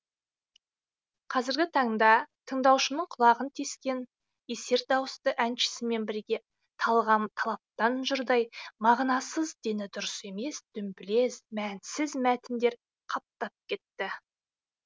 қазіргі таңда тыңдаушының құлағын тескен есер дауысты әншісімен бірге талғам талаптан жұрдай мағынасыз дені дұрыс емес дүмбілез мәнсіз мәтіндер қаптап кетті